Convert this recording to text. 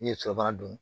N'i ye sɔ bagan dun